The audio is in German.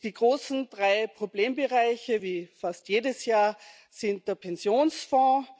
Die großen drei Problembereiche sind, wie fast jedes Jahr, der Pensionsfonds.